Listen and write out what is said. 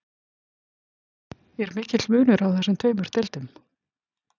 Er mikill munur á þessum tveimur deildum?